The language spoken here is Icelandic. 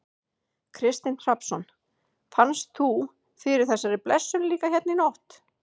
Kristinn Hrafnsson: Fannst þú fyrir þessari blessun líka hérna í nótt?